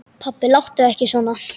Pabbi láttu ekki svona.